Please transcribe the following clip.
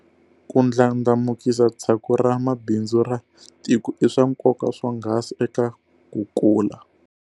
Ku ndlandlamukisa tshaku ra mabindzu ra tiko i swa nkoka swonghasi eka ku kula.